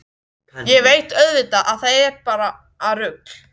Ég veit auðvitað að það er bara rugl.